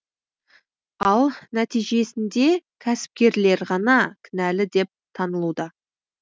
ал нәтижесінде кәсіпкерлер ғана кінәлі деп танылуда